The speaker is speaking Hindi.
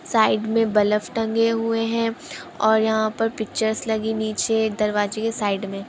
साइड बलब टंगे हुए है और यहाँ ओर पिक्चर्स लगी निचे दरवाजे के साइड में--